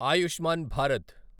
Ayushman Bharat